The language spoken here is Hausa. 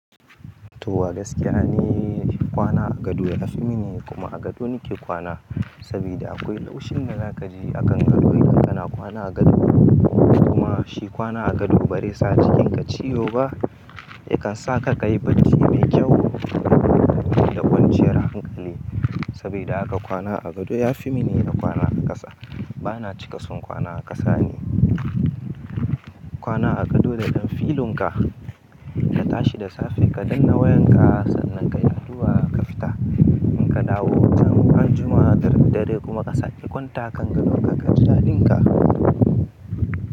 To wa gaskiya ni kwana a gado ya fi min, kuma a gado nake kwana. Saboda akwai laushin da za ka ji a kan gado idan kana kwana a gado. Kuma shi kwana a gado ba zai cikin ka ciyo ba ya kan sa ka kayi bacci mai kyau da kwanciyar hankali. Saboda haka kwana a gado ya fi mini da kwana a ƙasa. Bana cika son kwana a ƙasa ne. Kwana a gado da ɗan filin ka ka tashi da safe ka danna wayan ka sannan ka yi addu'a ka fita. In ka dawo, ran Juma'ar dare kuma ka sake kwanta a kan gadon ka, ka ji daɗin ka.